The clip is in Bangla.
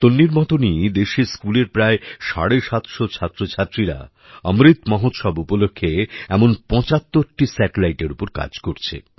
তন্বীর মতনই দেশে স্কুলের প্রায় সাড়ে সাতশো ছাত্র ছাত্রীরা অমৃত মহোৎসব উপলক্ষে এমন ৭৫টি Satelliteএর উপর কাজ করছে